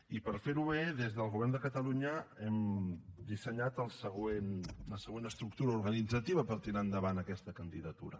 i per fer ho bé des del govern de catalunya hem dissenyat la següent estructura organitzativa per tirar endavant aquesta candidatura